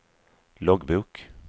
loggbok